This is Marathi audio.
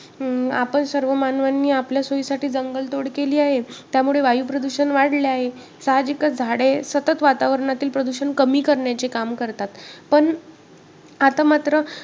अं आपण सर्व मानवांनी आपल्या सोयीसाठी जंगलतोड केली आहे. त्यामुळे वायुप्रदूषण वाढले आहे. साहजिकच झाडे सतत वातावरणातील प्रदूषण कमी करण्याचे काम करतात. पण आता मात्र